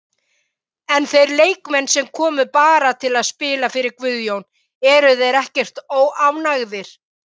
En þeir leikmenn sem komu bara til að spila fyrir Guðjón, eru þeir ekkert óánægðir?